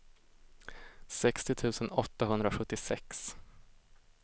sextio tusen åttahundrasjuttiosex